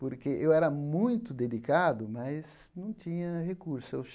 Porque eu era muito dedicado, mas não tinha recurso. Eu